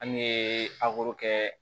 An ye aburu kɛ